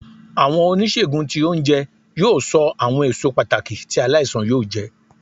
Awọn onisegùn tí ounjẹ yóò ṣo awọn èsó pàtàkì ti aláísàn yóò jẹ.